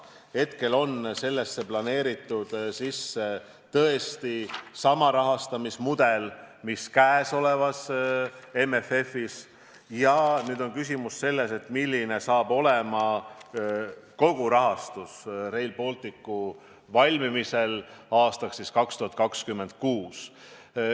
Hetkel on sellesse planeeritud tõesti sama rahastamismudel, mis käesolevas MFF-is, ja nüüd on küsimus selles, milline saab olema kogu rahastus Rail Balticu valmimisel aastaks 2026.